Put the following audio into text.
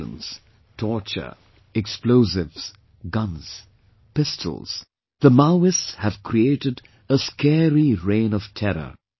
Violence, torture, explosives, guns, pistols... the Maoists have created a scary reign of terror